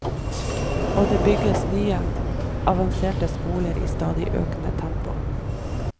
Og det bygges nye, avanserte skoler i stadig økende tempo.